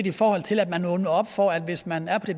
i forhold til at man åbner op for at hvis man er på